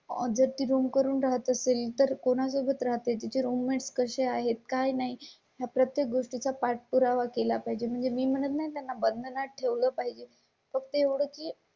ज्या ती रूम करून राहत असेल तर कोणा सोबत राहते? तिचे रूममेट्स कसे आहेत काय? नाही प्रत्येक गोष्टी चा पाठपुरावा केला पाहिजे म्हणजे मी म्हणत नाही त्यांना बना ठेवलं पाहिजे. फक्त एवढंच की